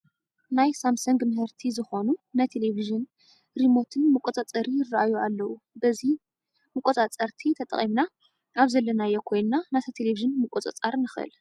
ናይ ሳምሰንግ ምህርቲ ዝኾኑ ናይ ቴለብዥን ሪሞት መቆፃፀሪ ይርአዩ ኣለዉ፡፡ በዚሞ መቆፃፀርቲ ተጠቒምና ኣብ ዘለናዮ ኮይንና ነታ ቴለብዥን ምቑፅፃር ንኽእል፡፡